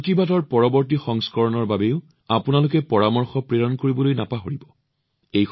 মন কী বাতৰ পৰৱৰ্তী খণ্ডৰ বাবে আপোনাৰ পৰামৰ্শ প্ৰেৰণ কৰিবলৈ নাপাহৰিব